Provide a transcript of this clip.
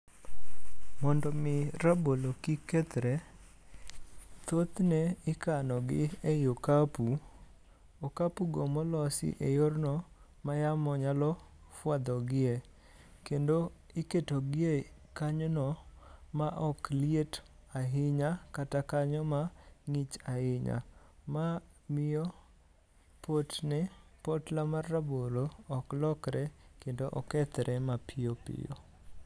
Mondo mi rabolo kik kethre, thothne ikano gi ei okapu, okapu go molos e yorno ma yamo nyalo fwadho gie. Kendo iketo gi e kanyono ma ok liet ahinya kata kanyo mang'ich ahinya. Ma miye potne potla mar rabolo ok lokre kendo okethre mapiyo piyo.